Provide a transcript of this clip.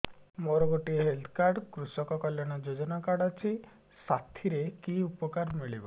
ମୋର ଗୋଟିଏ health card କୃଷକ କଲ୍ୟାଣ ଯୋଜନା କାର୍ଡ ଅଛି ସାଥିରେ କି ଉପକାର ମିଳିବ